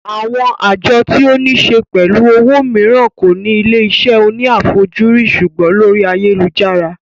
Àwọn àjọ tí ó ní se pẹ̀lú owó mìíràn kò ní ilé iṣẹ́ òní àfajúrí sùgbọ́n lórí ayélujára